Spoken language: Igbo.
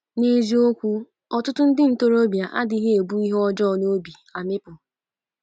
N’eziokwu, ọtụtụ ndị ntorobịa adịghị ebu ihe ọjọọ n’obi amịpụ.